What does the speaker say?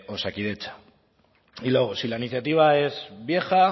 osakidetza y luego si la iniciativa es vieja